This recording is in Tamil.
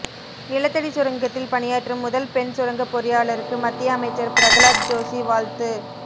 நிலத்தடி சுரங்கத்தில் பணியாற்றும் முதல் பெண் சுரங்கப் பொறியாளருக்கு மத்திய அமைச்சர் பிரகலாத் ஜோஷி வாழ்த்து